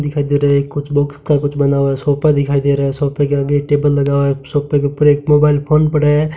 दिखाई दे रहा है कुछ बुक्स का कुछ बना हुआ है सोफा दिखाई दे रहा है सोफे के आगे एक टेबल लगा है सोफे के ऊपर एक मोबाइल फोन पड़ा है।